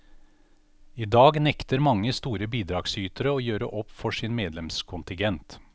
I dag nekter mange store bidragsytere å gjøre opp for sin medlemskontingent.